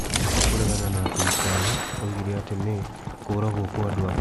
Nĩ ũndũ wa kũregana na thirikari, oigire atĩ nĩ ', 'kũragwo kwa andũ ake.